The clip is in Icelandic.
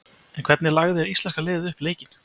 En hvernig lagði íslenska liðið upp leikinn?